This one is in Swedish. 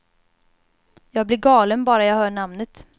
Jag blir galen bara jag hör namnet.